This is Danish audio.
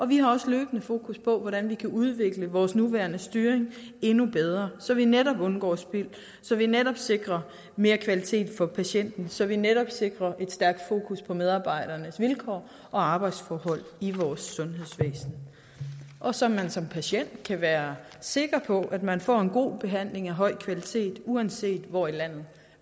vi har også løbende fokus på hvordan vi kan udvikle vores nuværende styring endnu bedre så vi netop undgår spild så vi netop sikrer mere kvalitet for patienten så vi netop sikrer et stærkt fokus på medarbejdernes vilkår og arbejdsforhold i vores sundhedsvæsen og så man som patient kan være sikker på at man får en god behandling af høj kvalitet uanset hvor i landet